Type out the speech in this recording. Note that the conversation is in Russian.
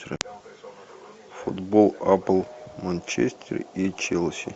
футбол апл манчестер и челси